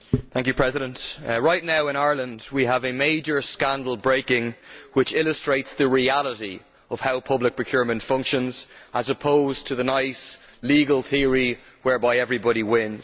Mr President, right now in Ireland we have a major scandal breaking which illustrates the reality of how public procurement functions, as opposed to the nice legal theory whereby everybody wins.